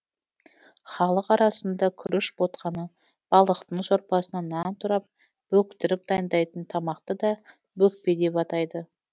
халық арасында күріш ботқаны балықтың сорпасына нан тұрап бөктіріп дайындайтын тамақты да бөкпе деп атайды